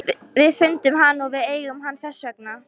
Við fundum hann og við eigum hann þess vegna.